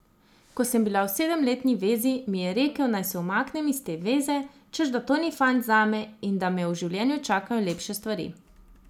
Ko sem bila v sedemletni vezi, mi je rekel, naj se umaknem iz te veze, češ da to ni fant zame in da me v življenju čakajo lepše stvari.